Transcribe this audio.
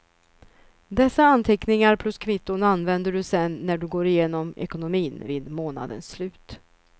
Dessa anteckningar plus kvitton använder du sedan när du går igenom ekonomin vid månadens slut.